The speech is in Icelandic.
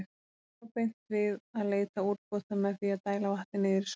Því lá beint við að leita úrbóta með því að dæla vatni niður í svæðið.